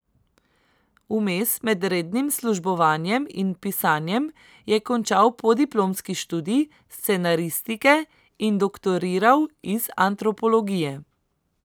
Vmes, med rednim službovanjem in pisanjem, je končal podiplomski študij scenaristike in doktoriral iz antropologije.